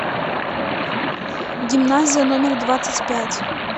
гимназия номер двадцать пять